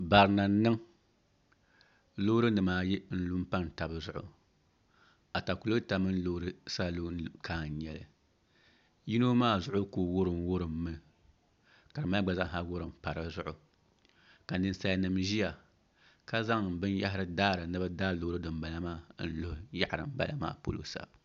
Barina n niŋ loori nim ayi n lu n pani tabi zuɣu atakulɛta mini pasinja loori kaa n nyɛli yino maa zuɣu ku wurim wurimmi ka dinbala maa gba wurim pa dizuɣu ka ninsal nim ʒiya ka zaŋ binyahari daari bi daai loori dinbala maa luhi yaɣa dinbala maa polo sa